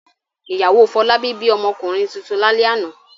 Ìyàwó Fọlábí bí ọmọkùnrin tuntun lálẹ́ àná.